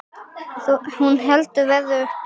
Hún heldur verðinu uppi.